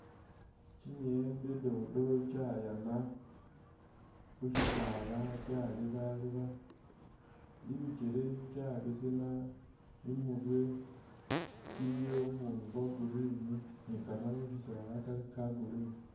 Kyimiyembe dodo kyayama khushisaala kyalebaleba ,ibikyele kyabesema ,imurwe kyiliyo bubundu bwo green ni kamaru khushisaala kali ka green